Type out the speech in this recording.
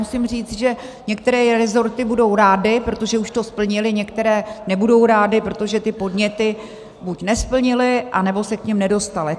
Musím říct, že některé rezorty budou rády, protože už to splnily, některé nebudou rády, protože ty podněty buď nesplnily, nebo se k nim nedostaly.